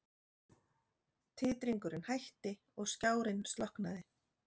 Titringurinn hætti og skjárinn slokknaði.